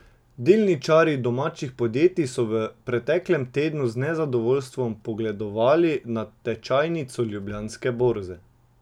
Delničarji domačih podjetij so v preteklem tednu z nezadovoljstvom pogledovali na tečajnico Ljubljanske borze.